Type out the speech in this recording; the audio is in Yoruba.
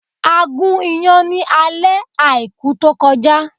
A gún Iyán ní alẹ́ Àìkú to kọjá